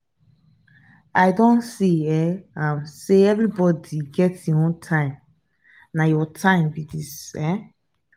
i don see um am sey everybodi get im own time na your time be dis. um